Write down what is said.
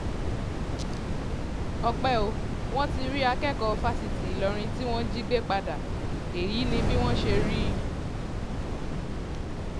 ọpẹ́ o wọ́n ti rí akẹ́kọ̀ọ́ fásitì ìlọrin tí wọ́n jí gbé padà èyí ni bí wọ́n ṣe rí i